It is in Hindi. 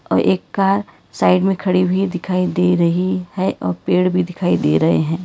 एक कार साइड में खड़ी हुई दिखाई दे रही है और पेड़ भी दिखाई दे रहे हैं।